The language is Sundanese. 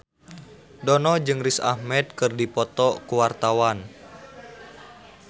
Dono jeung Riz Ahmed keur dipoto ku wartawan